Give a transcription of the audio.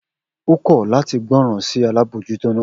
O kọ lati gboran si alabojuto naa